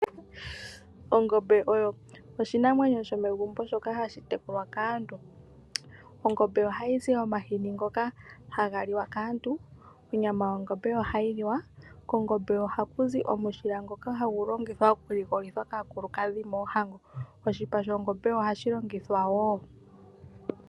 Ongombe oyo oshinamwenyo shomegumbo shoka hashi tekulwa kaantu. Ongombe ohayi zi omahini ngoka haga liwa kaantu. Onyama yongombe ohayi liwa. Kongombe ohaku zi omushila ngoka hagu ligolithwa kaakulukadhi moohango.